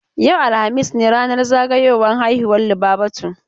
Yau, alhamis ne ranar zagayowan haihuwa Lubabatu.